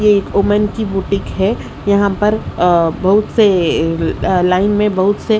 ये एक वूमेन की बुटीक है यहां पर अह बहुत से अह लाइन में बहुत से--